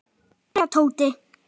Gerðu það, Tóti!